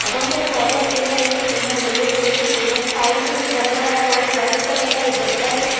बहोत सारे पौधे पिंक कलर के फूल है येलो कलर के फूल है साइड में गमला रखा हुआ है व्हाइट कलर का एक गत्ता से--